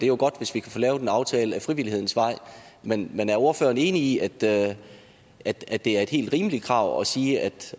jo godt hvis vi kan få lavet en aftale ad frivillighedens vej men men er ordføreren enig i at det at det er et helt rimeligt krav at sige at